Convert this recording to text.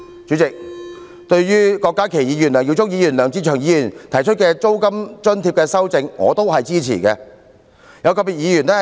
主席，對於郭家麒議員、梁耀忠議員及梁志祥議員提出的租金津貼建議，我也予以支持。